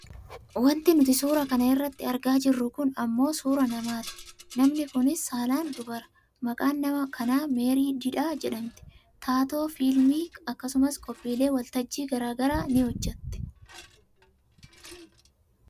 Wanti nuti suura kana irratti argaa jirru kun ammoo suuraa namaati. Namni kunis saalaan dubara. Maqaan nama kanaa Meerii didhaa jedhamti. Taatoo fiilmiiti akkasumas qophiilee waltajjii gara garaa ni hojjatti.